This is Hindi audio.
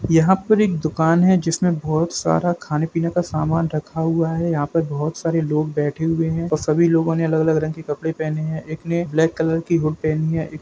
यहाॅं पर एक दुकान है जिसमें बहुत सारा खाने-पीने का सामान रखा हुआ है यहाॅं पर बहुत सारे लोग बैठे हुए है ओर सभी लोगों ने अलग-अलग रंग के कपड़े पहने है एक ने ब्लैक कलर की हुड पहनी है।